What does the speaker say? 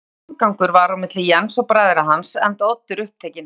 Lítill samgangur var milli Jens og bræðra hans, enda Oddur upptekinn